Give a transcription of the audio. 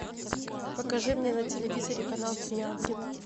покажи мне на телевизоре канал три ангела